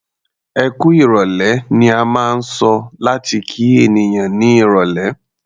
"Ẹkú ìrọ̀lẹ́" ni a máa ń sọ láti kí ènìyàn ní irọ̀lẹ́.